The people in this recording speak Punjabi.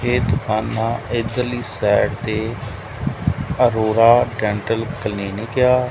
ਇਹ ਦੁਕਾਨਾਂ ਇਧਰਲੀ ਸਾਈਡ ਤੇ ਅਰੋਰਾ ਡੈਂਟਲ ਕਲੀਨਿਕ ਐ।